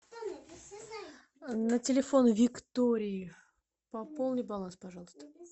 на телефон виктории пополни баланс пожалуйста